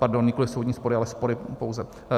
Pardon, nikoli soudní spory, ale spory pouze.